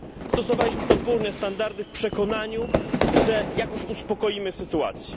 Stosowaliśmy podwójne standardy w przekonaniu, że jakoś uspokoimy sytuację.